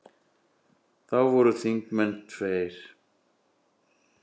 Þá voru þingmenn tveir.